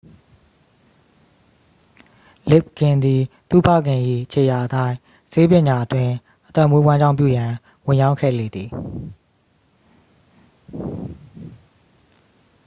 လစ်ဂ်ဂင် သည် သူ့ဖခင်၏ ခြေရာအတိုင်း ဆေးပညာအတွင်း အသက်မွေးဝမ်းကြောင်းပြုရန် ဝင်ရောက်ခဲ့လေသည်